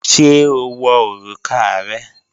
Ṣé o wọ̀ orúkà rẹ̀?